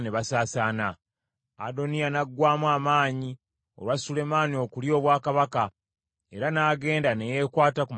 Adoniya n’aggwaamu amaanyi olwa Sulemaani okulya obwakabaka, era n’agenda ne yeekwata ku mayembe g’ekyoto.